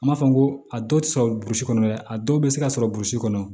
An b'a fɔ n ko a dɔw tɛ sɔrɔ burusi kɔnɔ dɛ a dɔw bɛ se ka sɔrɔ burusi kɔnɔ